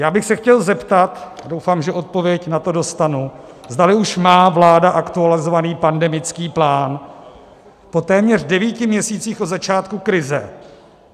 Já bych se chtěl zeptat, doufám, že odpověď na to dostanu, zdali už má vláda aktualizovaný pandemický plán po téměř devíti měsících od začátku krize.